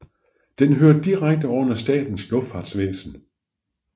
Den hører direkte under Statens Luftfartsvæsen